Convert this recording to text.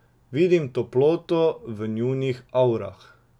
Vidim toploto v njunih avrah.